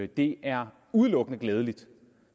det er udelukkende glædeligt